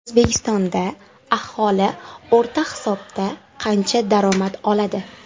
O‘zbekistonda aholi o‘rta hisobda qancha daromad oladi?.